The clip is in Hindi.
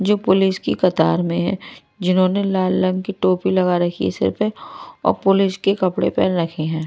जो पुलिस की कतार में है जिन्होंने लाल रंग की टोपी लगा रखी है सिर पे और पुलिस के कपड़े पहन रखे हैं।